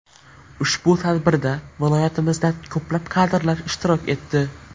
Ushbu tadbirda viloyatimizdan ko‘plab kadrlar ishtirok etdi.